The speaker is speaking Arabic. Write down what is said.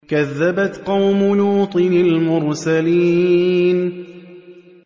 كَذَّبَتْ قَوْمُ لُوطٍ الْمُرْسَلِينَ